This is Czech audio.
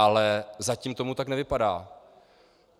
Ale zatím to tak nevypadá.